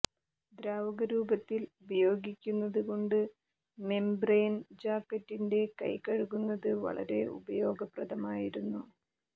ദ്രാവകരൂപത്തിൽ ഉപയോഗിക്കുന്നത് കൊണ്ട് മെംബ്രെൻ ജാക്കറ്റിന്റെ കൈ കഴുകുന്നത് വളരെ ഉപയോഗപ്രദമായിരുന്നു